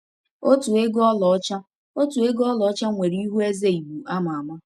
Otu ego ọlaọcha Otu ego ọlaọcha nwere ihu eze Igbo ama ama.